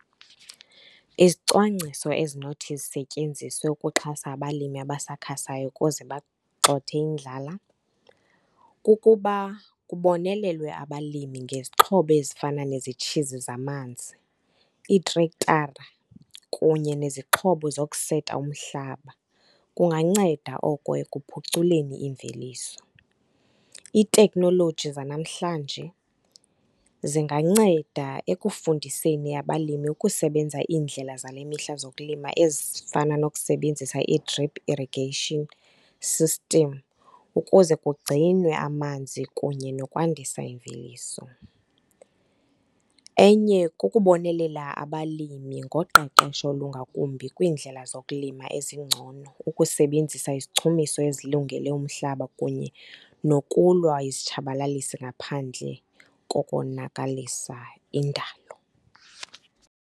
Izicwangciso ezinothi zisetyenziswe ukuxhasa abalimi abasakhasayo ukuze bagxothe indlala kukuba kubonelelwe abalimi ngezixhobo ezifana nezitshizi zamanzi, iitrektara kunye nezixhobo zokuseta umhlaba. Kunganceda oko ekuphuculeni iimveliso. Iitekhnoloji zanamhlanje zinganceda ekufundiseni abalimi ukusebenza indlela zale mihla zokulima ezifana nokusebenzisa ii-drip irrigation system ukuze kugcinwe amanzi kunye nokwandisa imveliso. Enye ke kukubonelela abalimi ngoqeqesho olungakumbi kwiindlela zokulima ezingcono, ukusebenzisa izichumiso ezilungele umhlaba kunye nokulwa izitshabalalisi ngaphandle kokonakalisa indalo.